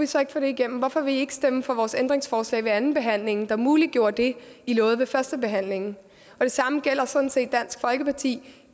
så ikke få det igennem hvorfor ville i ikke stemme for vores ændringsforslag ved andenbehandlingen der muliggjorde det i lovede ved førstebehandlingen det samme gælder sådan set dansk folkeparti